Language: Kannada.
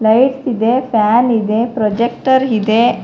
ಲೈಟ್ಸ್ ಇದೆ ಫ್ಯಾನ್ ಇದೆ ಪ್ರಾಜೆಕ್ಟರ್ ಇದೆ.